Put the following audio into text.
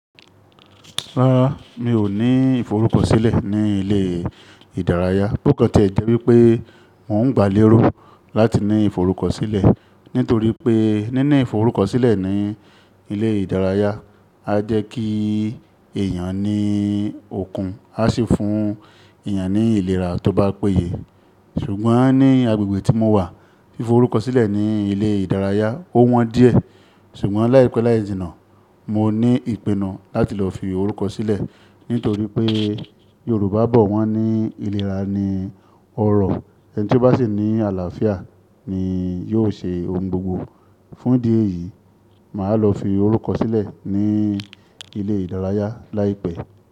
Rárá, mi ò ní ìforúkọsílẹ̀ ní ilé ìdárayá, bó kàntí ẹ́ jẹ́ wípé n ó ń gbálé rú láti ní ìforúkọsílẹ̀. Nítorí pé níní ìforúkọsílẹ̀ ní ilé ìdárayá a jẹ́ kí èèyàn ní okun a sì fún èèyàn ní ìlera tó bá péye. Ṣùgbọ́n ní agbègbè tí mo wà, fífo orúkọ sílẹ̀ ní ilé ìdárayá ó wọ́n díẹ̀. Ṣùgbọ́n láìpẹ́ láìjìnà mo ní ìpinnu láti lọ fi orúkọ sílẹ̀ nítorí pé Yorùbá bọ̀ wọ́n ní ìlera ni ọrọ̀. Ẹni tí ó bá sì ní àlàáfíà ni yóò ṣe ohun gbogbo. Fún di ẹ yìí, màá lọ fi orúkọ sílẹ̀ ní ilé ìdárayá láìpẹ́.